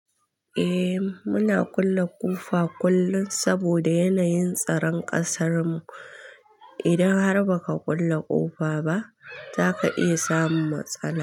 Eh muna kulle ƙofa kullum saboda yanayin tsaron ƙasarmu. Idan har ba ka kulle ƙofa ba, zaka iya samun matsala.